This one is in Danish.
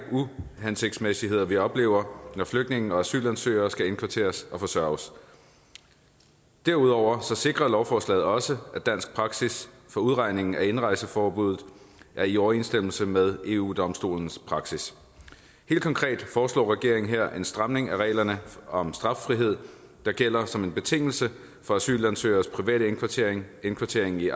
uhensigtsmæssigheder vi oplever når flygtninge og asylansøgere skal indkvarteres og forsørges derudover sikrer lovforslaget også at dansk praksis for beregning af indrejseforbud er i overensstemmelse med eu domstolens praksis helt konkret foreslår regeringen her er en stramning af reglerne om straffrihed der gælder som en betingelse for asylansøgeres private indkvartering indkvartering i